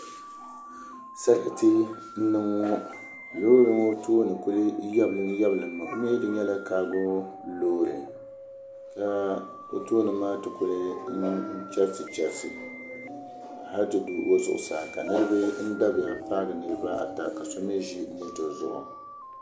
Sarati n niŋ ŋɔ loori ŋɔ tooni kuli yɛbilim yɛbilimmi di mii nyɛla kaago loori ka o tooni maa kuli chɛrisi chɛrisi hali ti du o zuɣusaa ka niraba dabiya paagi niraba ata ka so mii ʒi moto zuɣu